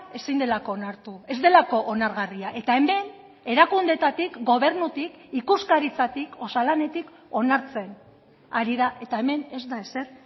ezin delako onartu ez delako onargarria eta hemen erakundeetatik gobernutik ikuskaritzatik osalanetik onartzen ari da eta hemen ez da ezer